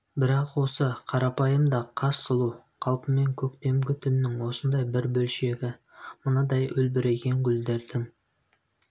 бірақ осы қарапайым да хас сұлу қалпымен көктемгі түннің осындай бір бөлшегі мынадай үлбіреген гүлдердің